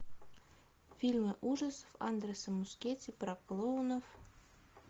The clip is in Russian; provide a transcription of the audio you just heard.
фильмы ужасов андреса мускетти про клоунов